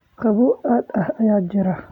Qabow aad ah ayaa jira?